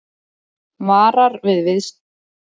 Varar við afskiptum af Arabalöndum